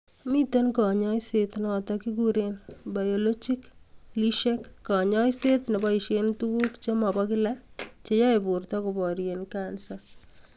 Miten konyoiset notok kekuren biologicalishek kanyaiset neboisien tugut che mo bo kila che yoi borto koborien kansa